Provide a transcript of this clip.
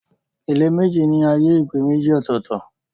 Ilé méjì ní ààyè ìgbé méjì ọ̀tọ̀ọ̀tọ̀.